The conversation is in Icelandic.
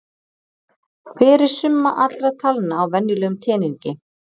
Hver er summa allra talna á venjulegum teningi?